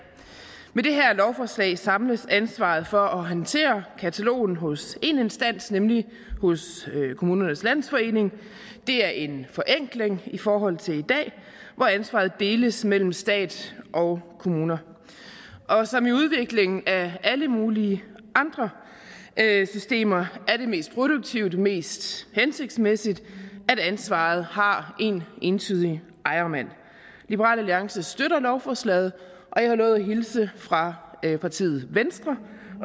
med det her lovforslag samles ansvaret for at håndtere katalogen hos én instans nemlig hos kommunernes landsforening det er en forenkling i forhold til i dag hvor ansvaret deles mellem stat og kommuner og som i udviklingen af alle mulige andre systemer er det mest produktive og det mest hensigtsmæssige at ansvaret har en entydig ejermand liberal alliance støtter lovforslaget og jeg har lovet at hilse fra partiet venstre